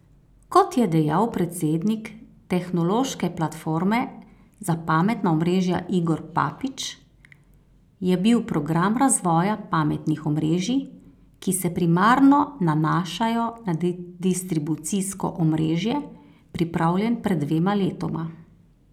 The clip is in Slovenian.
Kot je dejal predsednik Tehnološke platforme za pametna omrežja Igor Papič, je bil program razvoja pametnih omrežij, ki se primarno nanašajo na distribucijsko omrežje, pripravljen pred dvema letoma.